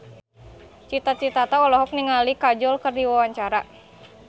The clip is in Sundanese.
Cita Citata olohok ningali Kajol keur diwawancara